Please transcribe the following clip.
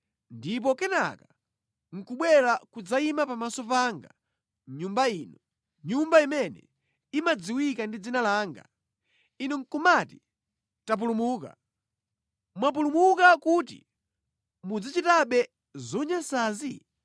ndipo kenaka nʼkubwera kudzayima pamaso panga mʼNyumba ino, Nyumba imene imadziwika ndi Dzina langa, inu nʼkumati, ‘Tapulumuka.’ Mwapulumuka kuti muzichitabe zonyansazi?